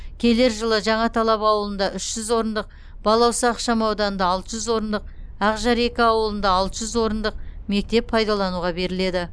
келер жылы жаңаталап ауылында үш жүз орындық балауса ықшам ауданында алты жүз орындық ақжар екі ауылында алты жүз орындық мектеп пайдалануға беріледі